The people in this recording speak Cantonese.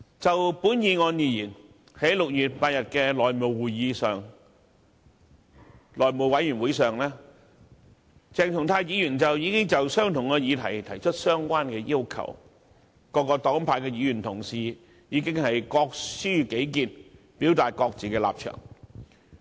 就這項議案而言，在6月8日的內務委員會會議上，鄭松泰議員亦曾就同一議題提出相關的要求，而各黨派議員當時已經各抒己見，表達各自的立場。